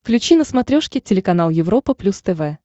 включи на смотрешке телеканал европа плюс тв